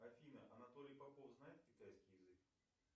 афина анатолий попов знает китайский язык